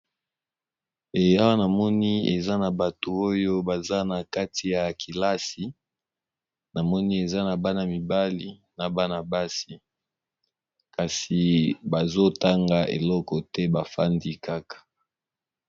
Awa namoni eza na bato oyo baza na kati ya kilase namoni eza Bana mibale pe n'a basi bavandi bazo sale eloko te.